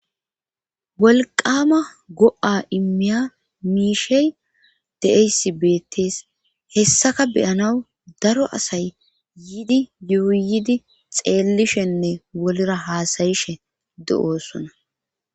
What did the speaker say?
Wolqama go'a immiya miishey de'aysi beettees hessaka beyanaw daro asay yidi yuuyidi xeellishenne wolra haasayishe de7oosona.